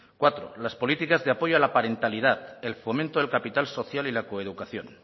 cuatro las políticas de apoyo parentalidad el fomento del capital social y la coeducación